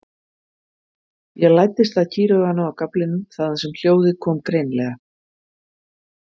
Ég læddist að kýrauganu á gaflinum þaðan sem hljóðið kom greinilega.